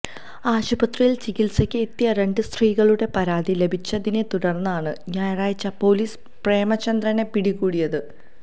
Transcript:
ആശുപത്രിയില് ചികിത്സക്ക് എത്തിയ രണ്ട് സ്ത്രീകളുടെ പരാതി ലഭിച്ചതിനെ തുടര്ന്നാണ് ഞായറാഴ്ച പോലീസ് പ്രേമ ചന്ദ്രനെ പിടി കൂടിയത്